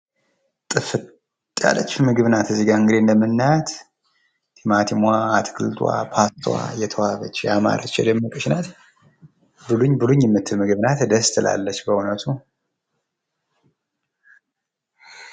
ጥፍጥ ያለች ምግብ ናት እንግዲህ እዚጋ እንደምናያት ቲማቲሟ፣ አትክልቱዋ፣ ፓስታዋ ፤ የተዋበች፣ ያማረች፣ የደመቀች ናት፡፡ ብሉኝ ብሉኝ ምትል ምግብ ናት ደስ ትላለች በዉነቱ፡፡